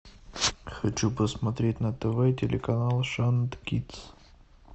хочу посмотреть на тв телеканал шант кидс